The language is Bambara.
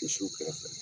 Misiw kɛrɛfɛ